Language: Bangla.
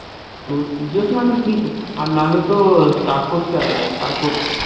তোর jio cinema কিন্তু free তে আর নাহলে তোর star sports এ আছে star sports